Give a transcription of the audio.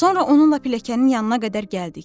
Sonra onunla pilləkənin yanına qədər gəldik.